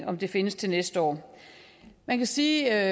om det findes til næste år man kan sige